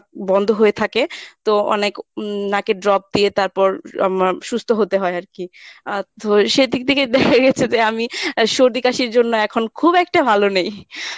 বন্ধ হয়ে থাকে তো অনেক উম নাকের drop দিয়ে তারপর আমার সুস্থ হতে হয় আরকি। আহ তো সেদিক থেকে দেখা গেছে যে আমি এর সর্দি কাশির জন্য এখন খুব একটা ভালো নেই